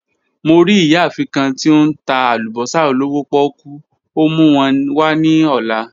Mo ri iyaafin kan ti o n ta alubosa olowo poku, o mu wọn wa ni ọla.